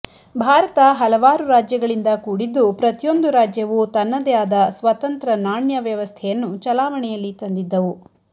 ಭಾರತ ಹಲವಾರು ರಾಜ್ಯಗಳಿಂದ ಕೂಡಿದ್ದು ಪ್ರತಿಯೊಂದು ರಾಜ್ಯವು ತನ್ನದೇ ಆದ ಸ್ವತಂತ್ರ ನಾಣ್ಯ ವ್ಯವಸ್ಥೆಯನ್ನು ಚಲಾವಣೆಯಲ್ಲಿ ತಂದಿದ್ದವು